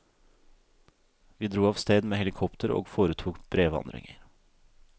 Vi dro av sted med helikopter og foretok brevandringer.